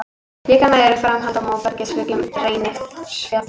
Líklega eru þeir framhald af móbergshryggnum Reynisfjalli.